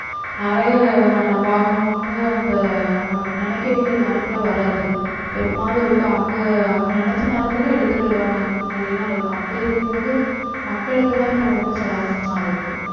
நிறைய வாகனம் வந்து அந்த நம்ம நினைக்ககூடிய நேரத்துல வராது எப்பமாவது ஒருக்கா அவங்க அவங்க நினச்ச நேரத்துக்கு எடுத்துட்டு வருவாங்க அந்த மாதிரிலாம் இருக்கும் அப்டி இருக்கும்போது மக்களுக்குதான் இப்ப ரொம்ப சிரமமா இருக்கு